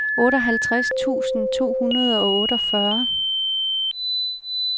otteoghalvtreds tusind to hundrede og otteogfyrre